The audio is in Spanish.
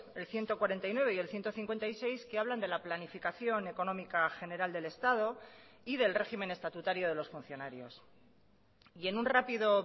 el ciento cuarenta y nueve y el ciento cincuenta y seis que hablan de la planificación económica general del estado y del régimen estatutario de los funcionarios y en un rápido